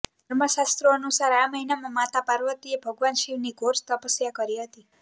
ધર્મશાસ્ત્રો અનુસાર આ મહિનામાં માતા પાર્વતીએ ભગવાન શિવની ઘોર તપસ્યા કરી હતી